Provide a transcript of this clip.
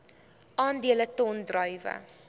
aandele ton druiwe